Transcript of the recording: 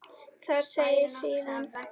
Þar segir síðan